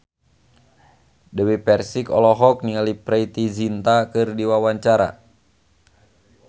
Dewi Persik olohok ningali Preity Zinta keur diwawancara